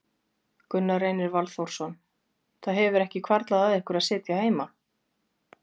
Gunnar Reynir Valþórsson: Það hefur ekki hvarflað að ykkur að sitja heima?